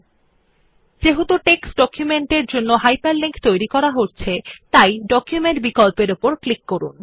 যেহেতু আমরা একটি টেক্সট ডকুমেন্ট এর জন্য একটি হাইপারলিংক তৈরি করছি আপনি ডকুমেন্ট বিকল্পর উপরক্লিক করুন